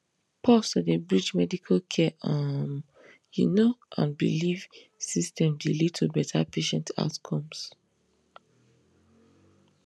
pause to dey bridge medical care um you know and belief systems dey lead to better patient outcomes